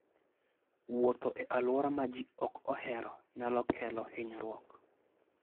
Wuotho e alwora ma ji ok ohero nyalo kelo hinyruok.